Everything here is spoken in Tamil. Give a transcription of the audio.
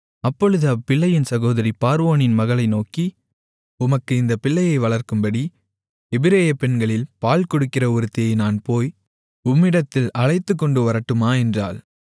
அப்பொழுது அப்பிள்ளையின் சகோதரி பார்வோனின் மகளை நோக்கி உமக்கு இந்தப் பிள்ளையை வளர்க்கும்படி எபிரெய பெண்களில் பால்கொடுக்கிற ஒருத்தியை நான் போய் உம்மிடத்தில் அழைத்துக்கொண்டு வரட்டுமா என்றாள்